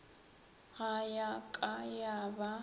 ga ya ka ya ba